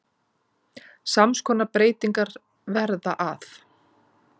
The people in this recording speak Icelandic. Sams konar breytingar verða að